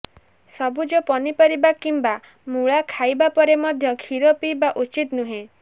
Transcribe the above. ସବୁଜ ପନିପରିବା କିମ୍ବା ମୂଳା ଖାଇବା ପରେ ମଧ୍ୟ କ୍ଷୀର ପିଇବା ଉଚିତ ନୁହେଁ